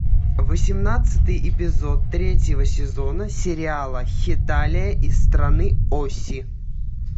восемнадцатый эпизод третьего сезона сериала хеталия и страны оси